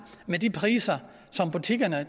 med de priser som butikkerne